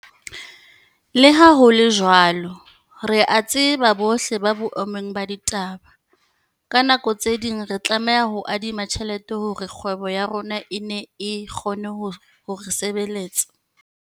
Le ha ho le jwalo, re a tseba bohle hore boemong ba ditaba, ka nako tse ding re tlameha ho adima tjhelete hore kgwebo ya rona e nne e kgone ho re sebeletsa.